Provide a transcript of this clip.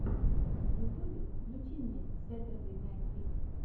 на ютубе включи мне сэтердэй найт лив